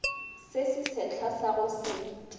se sesehla sa go se